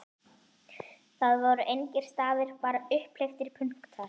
Það voru engir stafir, bara upphleyptir punktar!